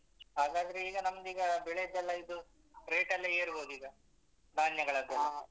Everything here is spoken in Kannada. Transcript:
ಹಾಗಾದ್ರೆ ಈಗ ನಮ್ದ್ ಈಗ ಬೆಳೆದೆಲ್ಲಾ ಇದು rate ಎಲ್ಲ ಏರ್ಬಹುದ್ ಈಗ ಧಾನ್ಯಗಳದ್ದೆಲ್ಲ.